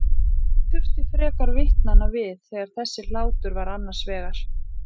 Ekki þurfti frekar vitnanna við þegar þessi hlátur var annars vegar.